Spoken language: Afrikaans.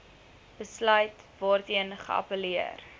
besluit waarteen geappelleer